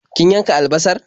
Kin yanka albasar?